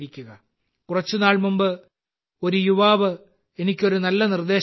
കുറച്ചുനാൾ മുമ്പ് ഒരു യുവാവ് എനിക്ക് ഒരു നല്ല നിർദ്ദേശം നൽകി